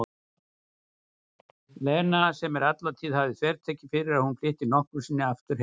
Lena sem alla tíð hafði þvertekið fyrir að hún flytti nokkru sinni aftur heim.